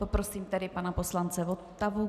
Poprosím tedy pana poslance Votavu.